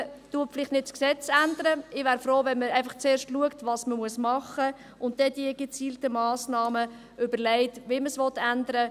Man ändert vielleicht nicht das Gesetz, ich wäre froh, wenn man schauen würde, was man machen muss, um dann gezielte Massnahmen zu überlegen, um dies zu ändern.